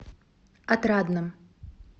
отрадном